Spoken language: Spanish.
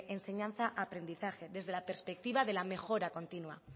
enseñanza aprendizaje desde la perspectiva de la mejora continua